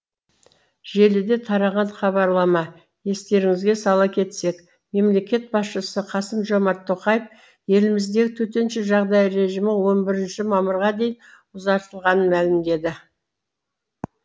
желіде тараған хабарлама естеріңізге сала кетсек мемлекет басшысы қасым жомарт тоқаев еліміздегі төтенше жағдай режимі он бірінші мамырға дейін ұзартылғанын мәлімдеді